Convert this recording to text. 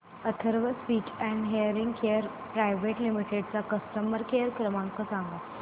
Atharva speech and hearing care private limited चा customer care क्रमांक सांगा